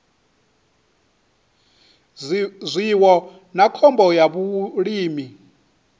zwiwo na khombo ya vhulimi